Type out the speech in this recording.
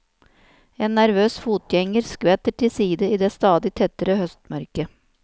En nervøs fotgjenger skvetter til side i det stadig tettere høstmørket.